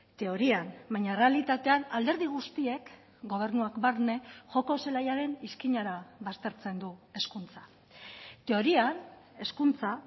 teorian baina errealitatean alderdi guztiek gobernuak barne joko zelaiaren izkinara baztertzen du hezkuntza teorian hezkuntza